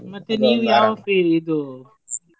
fie~ ಇದು?